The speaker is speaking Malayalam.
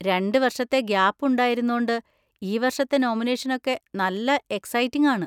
രണ്ട് വർഷത്തെ ഗാപ്പ് ഉണ്ടായിരുന്നോണ്ട് ഈ വർഷത്തെ നോമിനേഷനൊക്കെ നല്ല എക്സൈറ്റിങ് ആണ്.